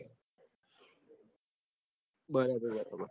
બરાબર